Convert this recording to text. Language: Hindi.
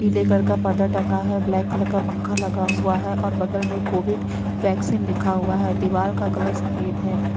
पीले कलर का पर्दा टंगा है ब्लैक कलर का पंखा लगा हुआ है और बगल में कोविड वैक्सीन लिखा हुआ है दीवाल का कलर सफेद है।